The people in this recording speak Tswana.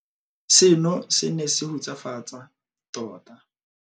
"Seno se ne se hutsafatsa tota."